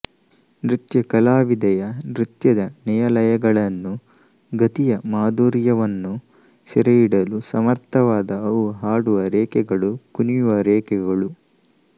ನೃತ್ಯ ಕಲಾವಿದೆಯ ನೃತ್ಯದ ನಯ ಲಯಗಳನ್ನು ಗತಿಯ ಮಾಧುರ್ಯವನ್ನು ಸೆರೆ ಹಿಡಿಯಲು ಸಮರ್ಥವಾದ ಅವು ಹಾಡುವ ರೇಖೆಗಳು ಕುಣಿಯುವ ರೇಖೆಗಳು